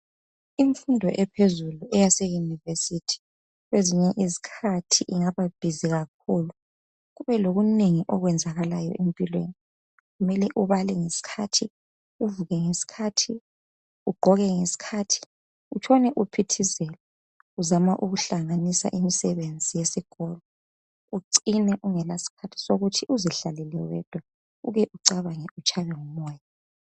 Imfundo ephezulu yaseyunivesithi kwezinye izikhathi ingaba busy kakhulu kube lokunengi okwenzakalayo empilweni, kumele ubale ngesikhathi, uvuke ngesikhathi, ugqoke ngesikhathi utshone uphithizela uzama ukuhlanganisa imisebenzi yesikolo ucine ungalasikhathi sokuthi uzihlalele wedwa ucabange utshaywe ngumoya.